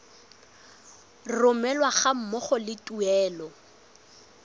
romelwa ga mmogo le tuelo